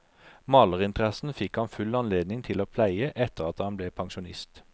Malerinteressen fikk han full anledning til å pleie etter at han ble pensjonist.